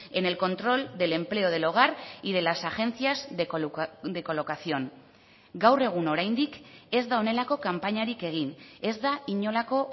en el control del empleo del hogar y de las agencias de colocación gaur egun oraindik ez da honelako kanpainarik egin ez da inolako